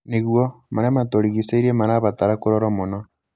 Nĩguo, mrĩa matũrigicĩirie marabatara kũrorwo mũno.